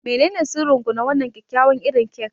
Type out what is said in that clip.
Menene sirrin ku na wannan kyakkyawan irin kek?